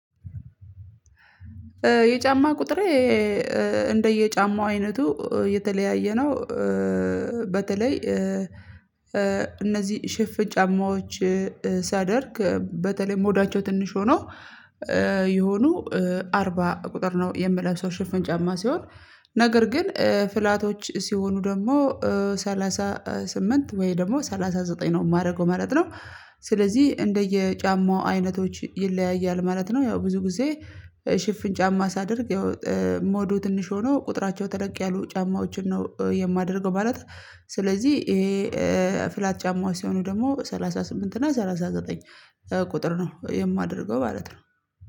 የጫማ ቁጥሬ እንደየጫማው አይነቱ የተለያየ ነው። በተለይ እነዚህ ሼፍን ጫማዎች ሳደርግ በተለይ ሞዳቸው ትንሽ ሆኖ የሆኑ አርባ ቁጥር ነው የምለብሰው ሽፍን ጫማ ሲሆን ነገር ግን ፍላቶች ሲሆኑ ደግሞ ሰላሳ ስምንት ወይ ደግሞ ሰላሳ ዘጠኝ ነው የማደርገው ማለት ነው። ስለዚህ እንደየ ጫማው አይነቶች ይለያያል ማለት ነው። ያው ብዙ ጊዜ ሽፍን ጫማ ሳደርግ ያው ሞዱ ትንሽ ሆኖ ቁጥራቸው ተለቅ ያሉ ጫማዎችን ነው የማደርገው ማለት። ስለዚህ ይሄ ፍላት ጫማዎች ሲሆኑ ደግሞ ሰላሳ ስምንት እና ሰላሳ ዘጠኝ ቁጥር ነው የማደርገው ማለት ነው